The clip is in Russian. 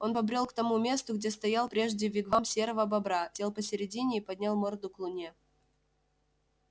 он побрёл к тому месту где стоял прежде вигвам серого бобра сел посредине и поднял морду к луне